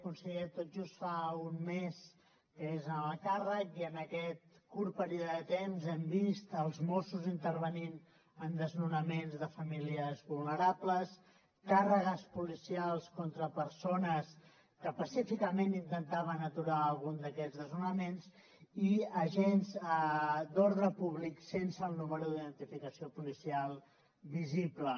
conseller tot just fa un mes que és en el càrrec i en aquest curt període de temps hem vist els mossos intervenint en desnonaments de famílies vulnerables càrregues policials contra persones que pacíficament intentaven aturar algun d’aquests desnonaments i agents d’ordre públic sense el número d’identificació policial visible